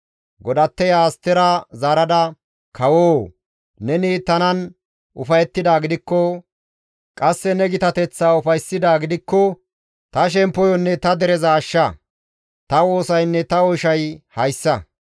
Godatteya Astera zaarada, «Kawoo! Neni tanan ufayettidaa gidikko, qasse ne gitateththaa ufayssidaa gidikko ta shemppoyonne ta dereza ashsha; ta woosaynne ta oyshay hayssa.